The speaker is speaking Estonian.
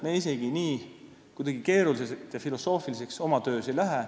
Meie oma töös isegi nii keeruliseks ja filosoofiliseks ei lähe.